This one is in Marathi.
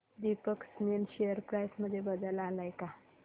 दीपक स्पिनर्स शेअर प्राइस मध्ये बदल आलाय का